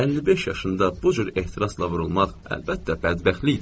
55 yaşında bu cür ehtirasla vurulmaq əlbəttə bədbəxtlikdir.